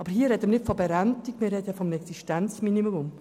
Aber hier reden wir nicht von Berentung, sondern vom Existenzminimum.